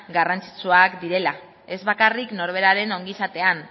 garrantzitsuak direla ez bakarrik norberaren ongizatean